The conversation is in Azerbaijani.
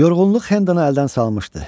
Yorğunluq Hendanı əldən salmışdı.